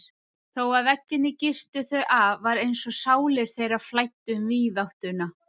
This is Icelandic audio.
Þó að veggirnir girtu þau af var einsog sálir þeirra flæddu um víðáttuna.